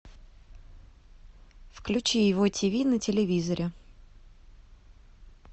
включи его тиви на телевизоре